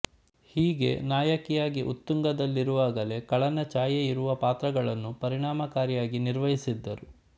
ಹೀಗೆ ನಾಯಕಿಯಾಗಿ ಉತ್ತುಂಗದಲ್ಲಿರುವಾಗಲೆ ಖಳನ ಛಾಯೆಯಿರುವ ಪಾತ್ರಗಳನ್ನು ಪರಿಣಾಮಕಾರಿಯಾಗಿ ನಿರ್ವಹಿದ್ದರು